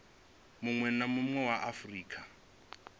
munwe na munwe wa afurika